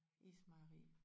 Ismejeri